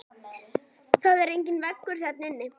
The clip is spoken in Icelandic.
Það er enginn vegur þarna niðri.